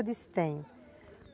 Eu disse, tenho.